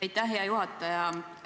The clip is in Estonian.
Aitäh, hea juhataja!